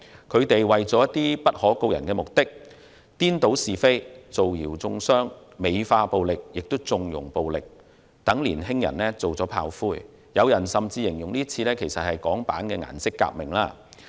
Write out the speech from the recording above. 他們為了達到不可告人的目的，顛倒是非、造謠中傷、美化並縱容暴力，讓年輕人當炮灰，甚至有人形容今次事件是港版顏色革命。